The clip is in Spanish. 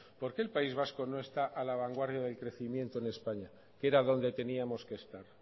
por qué el país vasco no está a la vanguardia del crecimiento de españa que era donde teníamos que estar